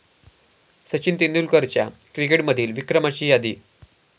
सचिन तेंडुलकरच्या क्रिकेटमधील विक्रमाची यादी